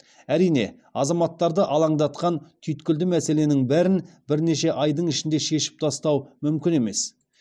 әрине азаматтарды алаңдатқан түйткілді мәселенің бәрін бірнеше айдың ішінде шешіп тастау мүмкін емес